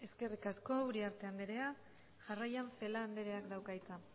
eskerrik asko uriarte andrea jarraian celaá andreak dauka hitza